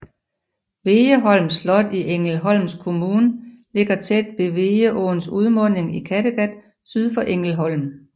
Vegeholms slot i Ängelholms kommun ligger tæt ved Vegeåns udmunding i Kattegat syd for Ängelholm